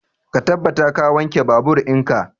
Ka tabbata ka wanke babur in ka!